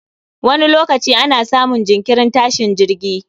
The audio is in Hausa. Wani lokaci ana samun jinkirin tashin jirgi